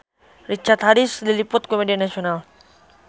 Richard Harris diliput ku media nasional